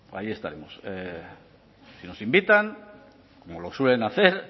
allí estaremos si nos invitan como lo suelen hacer